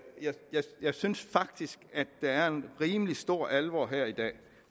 synes faktisk der er en rimelig stor alvor her i dag